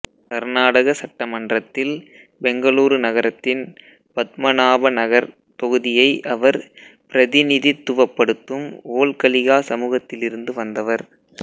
கர்நாடகா சட்டமன்றத்தில் பெங்களூரு நகரத்தின் பத்மநாபநகர் தொகுதியை அவர் பிரதிநிதித்துவப்படுத்தும் வோல்கலிகா சமூகத்திலிருந்து வந்தவர்